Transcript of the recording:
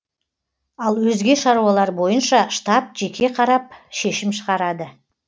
ал өзге шаруалар бойынша штаб жеке қарап шешім шығарады